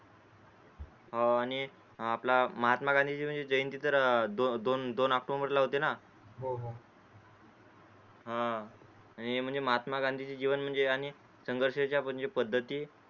अं हो आणि आपला म्हणजे महात्मा गांधीचे जयंती तर दोन ऑक्टोबर हा आणि महात्मा गांधीचीचे जीवन म्हणजे आणि संघर्षाच्या म्हणजे पद्धती